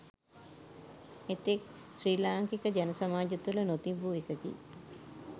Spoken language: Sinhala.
එතෙක් ශ්‍රී ලාංකික ජන සමාජය තුළ නොතිබූ එකකි.